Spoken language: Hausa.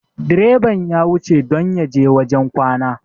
direban ya wuce don ya je wajen kwana